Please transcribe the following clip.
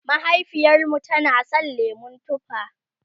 mahaifiyarmu tana San lemun tufa